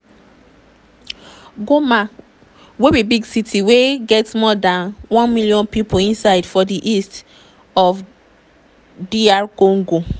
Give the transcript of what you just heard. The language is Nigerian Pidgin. goma wey be big city wey get more dan one million pipo inside for di east of dr congo.